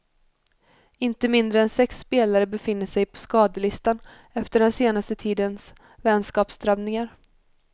Inte mindre än sex spelare befinner sig på skadelistan efter den senaste tidens vänskapsdrabbningar.